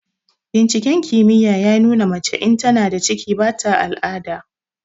Binciken kimiyya ya nuna mace in tana da ciki ba ta al'ada.